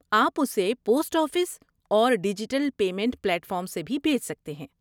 آپ اسے post office اور ڈیجیٹل پیمنٹ پلیٹ فارمس سے بھی بھیج سکتے ہیں۔